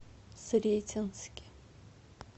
сретенске